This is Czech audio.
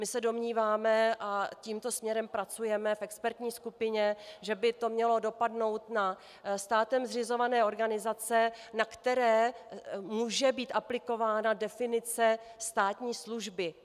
My se domníváme - a tímto směrem pracujeme v expertní skupině - že by to mělo dopadnout na státem zřizované organizace, na které může být aplikována definice státní služby.